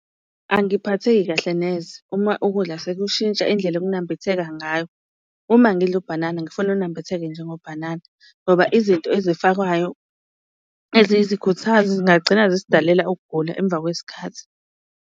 Angiphatheki kahle neze uma ukudla sekushintsha indlela okunambitheka ngayo. Uma ngidla ubhanana ngifuna unambitheke njengo bhanana ngoba izinto ezifakwayo eziyizikhuthazi, zingagcina zisidalela ukugula emva kwesikhathi.